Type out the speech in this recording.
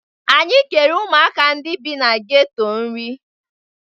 Anyị kere ụmụaka ndị bi na geto nri.